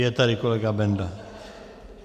Je tady kolega Benda.